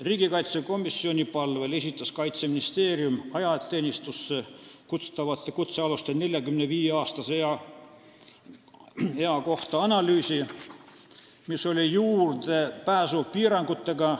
Riigikaitsekomisjoni palvel esitas Kaitseministeerium ajateenistusse kutsutavate kutsealuste ealise ülempiiri 45 aastani tõstmise kohta arvamuse, mis oli juurdepääsupiirangutega.